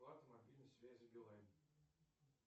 оплата мобильной связи билайн